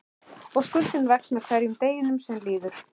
Og skuldin vex með hverjum deginum sem líður.